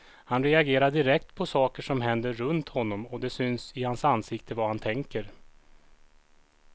Han reagerar direkt på saker som händer runt honom och det syns i hans ansikte vad han tänker.